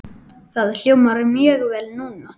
Það hljómar mjög vel núna.